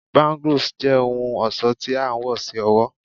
Bangles jẹ ohun ọṣọ ti a wọ si ọwọ